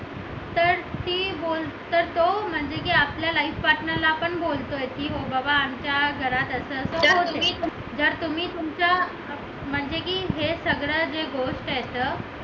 तर ती बोलते तो की आपल्या life partner ला पण बोलते की बाबा आमच्या घरात असं असं होते जर तुम्ही तुमच्या म्हणजे की हे सगळं जे गोष्ट आहेत तर ती गोष्ट तो